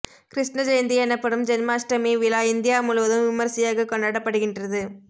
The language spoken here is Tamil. கிருஷ்ண ஜெயந்தி எனப்படும் ஜென்மாஷ்டமி விழா இந்தியா முழுவதும் விமர்சையாக கொண்டாடப்படுகின்றது